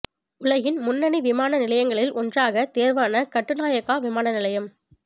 உலகின் முன்னணி விமான நிலையங்களில் ஒன்றாகத் தேர்வான கட்டுநாயக்கா விமான நிலையம்